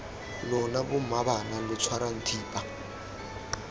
lona bommaabana lo tshwarang thipa